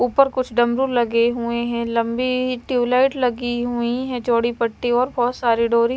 ऊपर कुछ डमरू लगे हुए हैं। लंबी ट्यूबलाइट लगी हुई है। चौड़ी पट्टी और बहोत सारी डोरी--